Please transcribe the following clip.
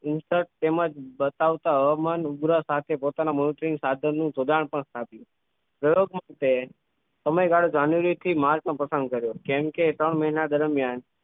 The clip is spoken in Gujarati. Insert તેમજ બતાવતા હવામાન ઉગ્ર સાથે પોતાના મુલતવી સાધન નું જોડાણ પણ સ્થાપ્યું ગૌરવપૂણ છે સમયગાળો january થી march નો પસંદ કર્યો કેમ કે ત્રણ મહિના દરમિયાન